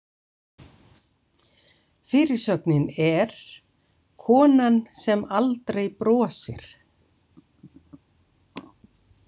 Fyrirsögnin er: „Konan sem aldrei brosir“.